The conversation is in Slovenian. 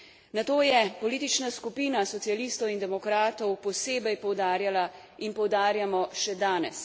Na to je politična skupina socialistov in demokratov posebej poudarjala in poudarjamo še danes.